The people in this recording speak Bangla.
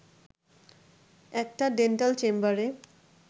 একটা ডেন্টাল চেম্বারে